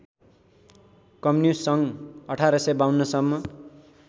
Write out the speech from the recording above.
communist सङ्घ १८५२सम्म